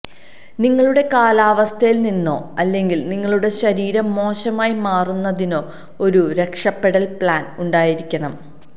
നിങ്ങളുടെ കാലാവസ്ഥയിൽ നിന്നോ അല്ലെങ്കിൽ നിങ്ങളുടെ ശരീരം മോശമായി മാറുന്നതിനോ ഒരു രക്ഷപ്പെടൽ പ്ലാൻ ഉണ്ടായിരിക്കണം